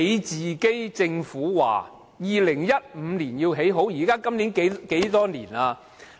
政府說要2015年完成興建高鐵，今年是何年？